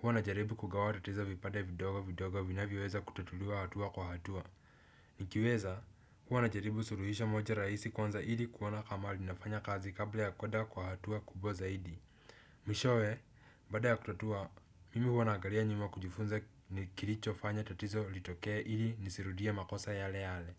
Huwa najaribu kugawa tatizo vipande vidogo vidogo vinavyoweza kutatuliwa hatua kwa hatua. Nikiweza huwa najaribu suluhisho moja rahisi kwanza ili kuona kama linafanya kazi kabla ya kwenda kwa hatua kubwa zaidi. Mwishowe, baada ya kutatua, mimi huwa naangalia nyuma kujifunza kilichofanya tatizo litokee ili nisirudie makosa yale yale.